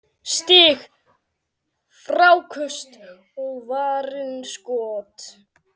Stig, fráköst og varin skot